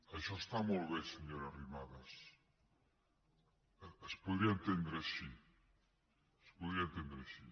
això està molt bé senyora arrimadas es podria entendre així es po·dria entendre així